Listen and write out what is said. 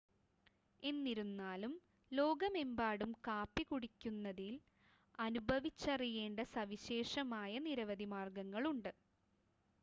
എന്നിരുന്നാലും ലോകമെമ്പാടും കാപ്പി കുടിക്കുന്നതിൽ അനുഭവിച്ചറിയേണ്ട സവിശേഷമായ നിരവധി മാർഗങ്ങളുണ്ട്